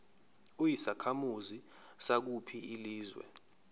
uyisakhamuzi sakuliphi izwe